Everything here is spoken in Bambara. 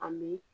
Ani